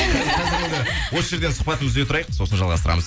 қазір енді осы жерден сұхбатымызды үзіп тұрайық сосын жалғастырамыз